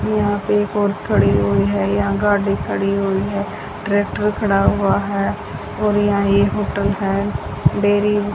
यहां पे एक औरत खड़ी हुई है यहां गाड़ी खड़ी हुई है ट्रैक्टर खड़ा हुआ है और यहां ये होटल है डेयरी --